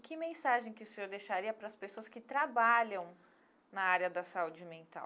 Que mensagem que o senhor deixaria para as pessoas que trabalham na área da saúde mental?